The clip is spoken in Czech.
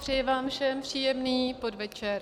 Přeji vám všem příjemný podvečer.